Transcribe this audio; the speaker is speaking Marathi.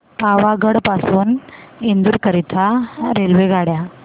पावागढ पासून इंदोर करीता रेल्वेगाड्या